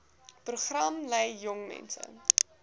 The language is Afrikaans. program lei jongmense